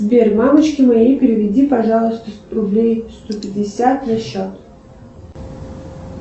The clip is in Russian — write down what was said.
сбер мамочке моей переведи пожалуйста рублей сто пятьдесят на счет